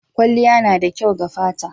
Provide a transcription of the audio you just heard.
Kwalliya na da kyau ga fata.